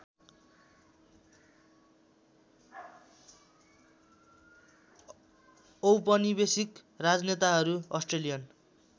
औपनिवेशिक राजनेताहरू अस्ट्रेलियन